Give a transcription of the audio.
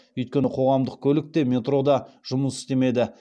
өйткені қоғамдық көлік те метро да жұмыс істемеді